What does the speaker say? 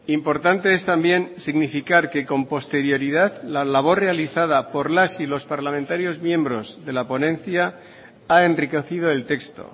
importante es también significar que con posterioridad la labor realizada por las y los parlamentarios miembros de la ponencia ha enriquecido el texto